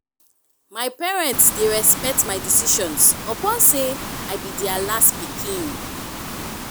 my parents dey respect my decisions upon sey i be their last pikin.